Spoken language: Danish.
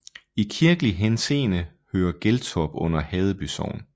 I kirkelig henseende hører Geltorp under Haddeby Sogn